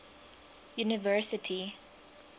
university